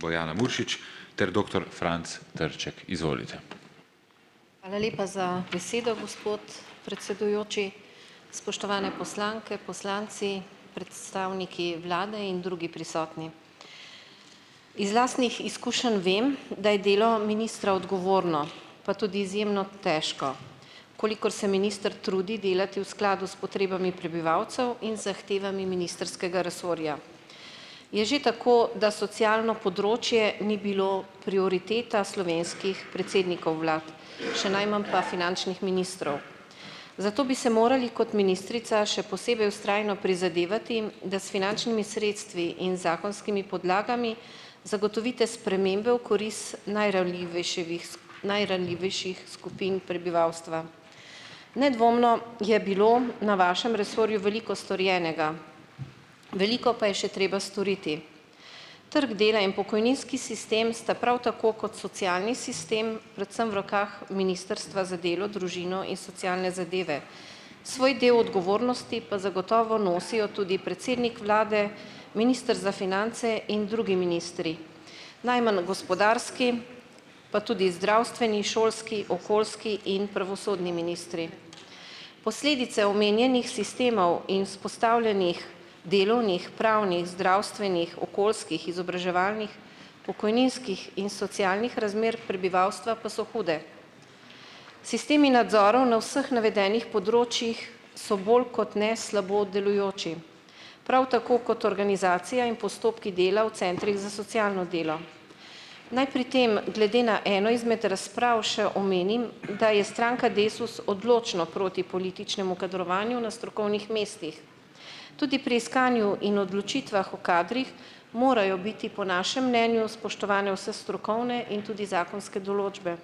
Hvala lepa za besedo, gospod predsedujoči. Spoštovane poslanke, poslanci. Predstavniki vlade in drugi prisotni. Iz lastnih izkušenj vem, da je delo ministra odgovorno pa tudi izjemno težko. Kolikor se minister trudi delati v skladu s potrebami prebivalcev in zahtevami ministrskega resorja. Je že tako, da socialno področje ni bilo prioriteta slovenskih predsednikov vlad, še najmanj pa finančnih ministrov . Zato bi se morali kot ministrica še posebej vztrajno prizadevati, da s finančnimi sredstvi in zakonskimi podlagami zagotovite spremembe v najranljivejševih najranljivejših skupin prebivalstva. Nedvomno je bilo na vašem resorju veliko storjenega, veliko pa je še treba storiti. Trg dela in pokojninski sistem sta prav tako kot socialni sistem predvsem v rokah Ministrstva za delo, družino in socialne zadeve, svoj del odgovornosti pa zagotovo nosijo tudi predsednik vlade, minister za finance in drugi ministri, najmanj gospodarski, pa tudi zdravstveni, šolski, okoljski in pravosodni ministri. Posledice omenjenih sistemov in vzpostavljenih delovnih, pravnih, zdravstvenih, okoljskih, izobraževalnih, pokojninskih in socialnih razmer prebivalstva pa so hude. Sistemi nadzorov na vseh navedenih področjih so bolj kot ne slabo delujoči. Prav tako kot organizacija in postopki dela v centrih za socialno delo. Naj pri tem, glede na eno izmed razprav še omenim, da je stranka Desus odločno proti političnemu kadrovanju na strokovnih mestih. Tudi pri iskanju in odločitvah o kadrih morajo biti po našem mnenju spoštovane vse strokovne in tudi zakonske določbe.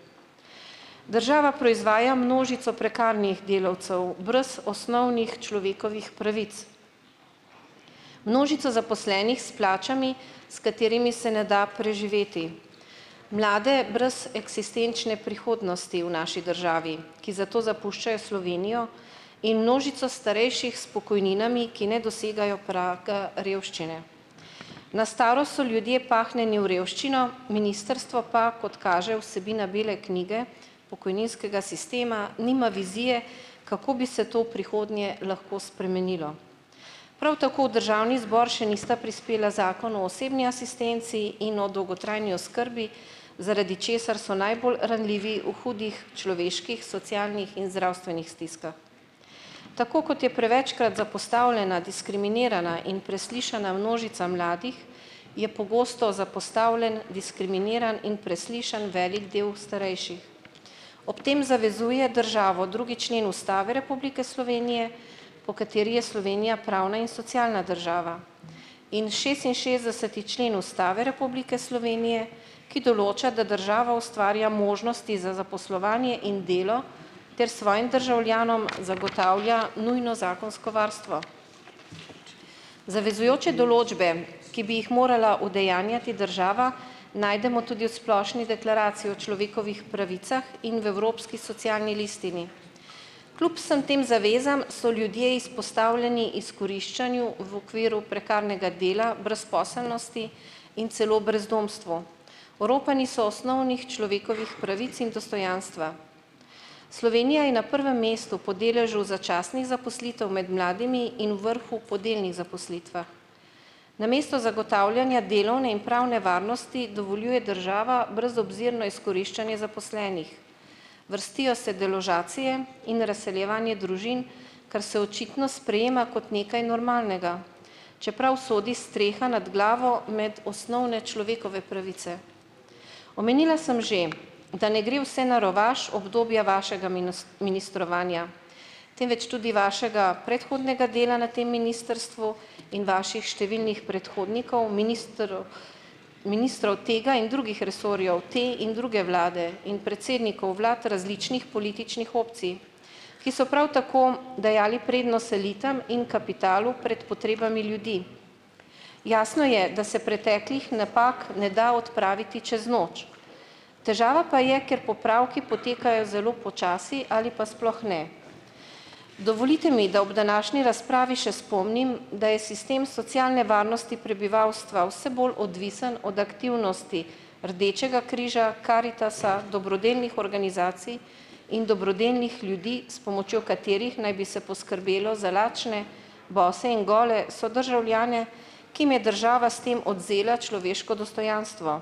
Država proizvaja množico prekarnih delavcev brez osnovnih človekovih pravic. Množica zaposlenih s plačami, s katerimi se ne da preživeti. Mlade brez eksistenčne prihodnosti v naši državi, ki zato zapuščajo Slovenijo in množico starejših s pokojninami, ki ne dosegajo praga revščine. Na starost so ljudje pahnjeni v revščino, ministrstvo pa, kot kaže vsebina bele knjige, pokojninskega sistema nima vizije, kako bi se to v prihodnje lahko spremenilo. Prav tako državni zbor še nista prispela Zakon o osebni asistenci in o dolgotrajni oskrbi, zaradi česar so najbolj ranljivi v hudih človeških socialnih in zdravstvenih stiskah. Tako kot je prevečkrat zapostavljena diskriminirana in preslišana množica mladih, je pogosto zapostavljen diskriminiran in preslišan veliko del starejših. Ob tem zavezuje državo drugi člen Ustave Republike Slovenije, po katerem je Slovenja pravna in socialna država in šestinšestdeseti člen Ustave Republike Slovenije, ki določa, da država ustvarja možnosti za zaposlovanje in delo ter svojim državljanom zagotavlja nujno zakonsko varstvo. Zavezujoče določbe, ki bi jih morala udejanjati država, najdemo tudi v Splošni deklaraciji o človekovih pravicah in v Evropski socialni listini. Kljub vsem tem zavezam so ljudje izpostavljeni izkoriščanju v okviru prekarnega dela brezposelnosti in celo brezdomstvu. Oropani so osnovnih človekovih pravic in dostojanstva. Slovenija je na prvem mestu po deležu začasnih zaposlitev med mladimi in vrhu po delnih zaposlitvah. Namesto zagotavljanja delovne in pravne varnosti dovoljuje država brezobzirno izkoriščanje zaposlenih. Vrstijo se deložacije in razseljevanje družin, kar se očitno sprejema kot nekaj normalnega, čeprav sodi streha nad glavo med osnovne človekove pravice. Omenila sem že, da ne gre vse na rovaš obdobje vašega ministrovanja, temveč tudi vašega predhodnega dela na tem ministrstvu in vaših številnih predhodnikov, ministrov, ministrov tega in drugih resorjev, te in druge vlade in predsednikov vlad različnih političnih opcij, ki so prav tako dajali prednost selitvam in kapitalu pred potrebami ljudi. Jasno je, da se preteklih napak ne da odpraviti čez noč, težava pa je, ker popravki potekajo zelo počasi ali pa sploh ne. Dovolite mi, da ob današnji razpravi še spomnim, da je sistem socialne varnosti prebivalstva vse bolj odvisen od aktivnosti Rdečega križa, Karitasa, dobrodelnih organizacij in dobrodelnih ljudi, s pomočjo katerih naj bi se poskrbelo za lačne, boste in gole sodržavljane, ki jim je država s tem odvzela človeško dostojanstvo.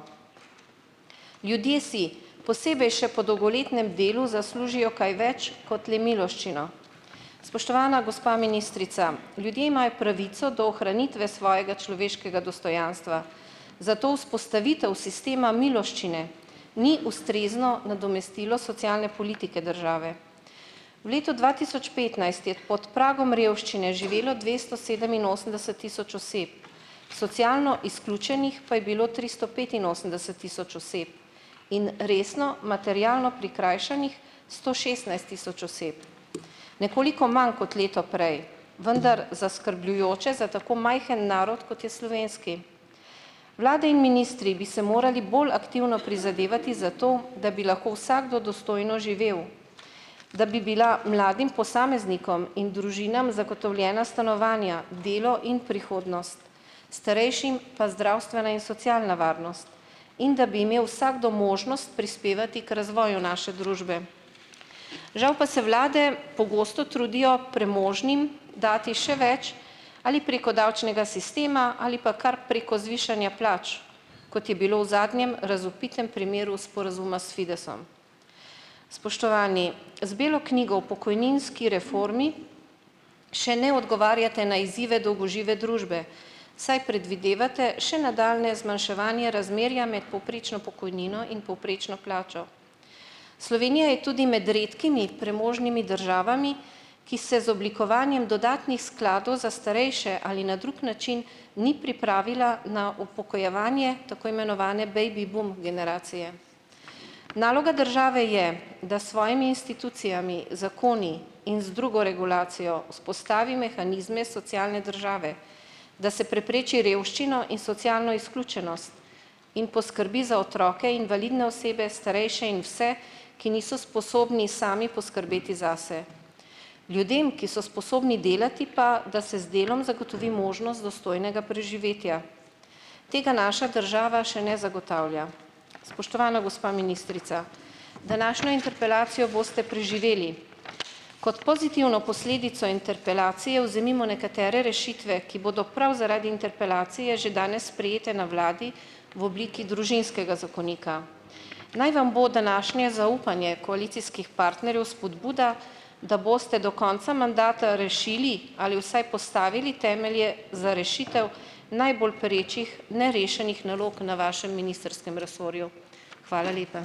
Ljudje si, posebej še po dolgoletnem delu, zaslužijo kaj več kot le miloščino. Spoštovana gospa ministrica, ljudje imajo pravico do ohranitve svojega človeškega dostojanstva, zato vzpostavitev sistema miloščine ni ustrezno nadomestilo socialne politike države. V letu dva tisoč petnajst je pod pragom revščine živelo dvesto sedeminosemdeset tisoč oseb, socialno izključenih pa je bilo tristo petinosemdeset tisoč oseb. In resno materialno prikrajšanih sto šestnajst tisoč oseb. Nekoliko manj kot leto prej, vendar zaskrbljujoče za tako majhen narod, kot je slovenski. Vlade in ministri bi se morali bolj aktivno prizadevati za to, da bi lahko vsakdo dostojno živel, da bi bila mladim posameznikom in družinam zagotovljena stanovanja, delo in prihodnost. Starejšim pa zdravstvena in socialna varnost in da bi imel vsakdo možnost prispevati k razvoju naše družbe. Žal pa se vlade pogosto trudijo premožnim dati še več ali preko davčnega sistema ali pa kar preko zvišanja plač, kot je bilo v zadnjem razvpitem primeru sporazuma s Fidesom. Spoštovani, z belo knjigo o pokojninski reformi še ne odgovarjate na izzive dolgožive družbe, saj predvidevate še nadaljnje zmanjševanje razmerja med povprečno pokojnino in povprečno plačo. Slovenija je tudi med redkimi premožnimi državami, ki se z oblikovanjem dodatnih skladov za starejše ali na drug način ni pripravila na upokojevanje tako imenovane baby boom generacije. Naloga države je, da s svojimi institucijami, zakoni in z drugo regulacijo vzpostavi mehanizme socialne države, da se prepreči revščino in socialno izključenost in poskrbi za otroke, invalidne osebe, starejše in vse, ki niso sposobni sami poskrbeti zase. Ljudem, ki so sposobni delati pa, da se z delom zagotovi možnost dostojnega preživetja. Tega naša država še ne zagotavlja. Spoštovana gospa ministrica. Današnjo interpelacijo boste preživeli. Kot pozitivno posledico interpelacije vzemimo nekatere rešitve, ki bodo prav zaradi interpelacije že danes sprejete na vladi v obliki družinskega zakonika. Naj vam bo današnje zaupanje koalicijskih partnerjev spodbuda, da boste do konca mandata rešili ali vsaj postavili temelje za rešitev najbolj perečih nerešenih nalog na vašem ministrskem resorju. Hvala lepa.